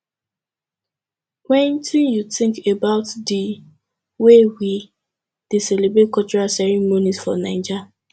wetin you think about di way wey we dey celebrate cultural ceremonies for naija